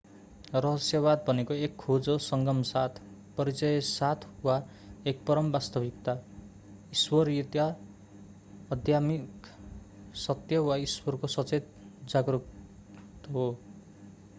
रहस्यवाद भनेको एक खोज हो संगम साथ परिचय साथ वा एक परम वास्तविकता ईश्वरीयता आध्यात्मिक सत्य वा ईश्वरको सचेत जागरूकत हो